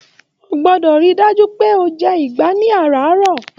O gbọ́dọ̀ rí i dájú pé o jẹ ìgbá ní àràárọ̀